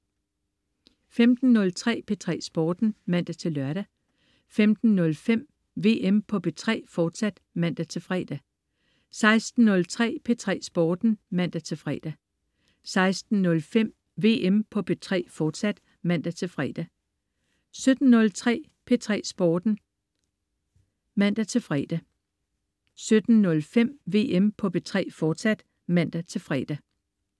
15.03 P3 Sporten (man-lør) 15.05 VM på P3, fortsat (man-fre) 16.03 P3 Sporten (man-fre) 16.05 VM på P3, fortsat (man-fre) 17.03 P3 Sporten (man-fre) 17.05 VM på P3, fortsat (man-fre)